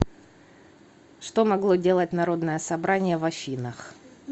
что могло делать народное собрание в афинах